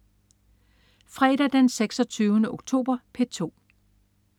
Fredag den 26. oktober - P2: